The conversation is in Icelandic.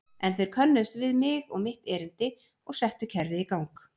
En þeir könnuðust við mig og mitt erindi og settu kerfið í gang.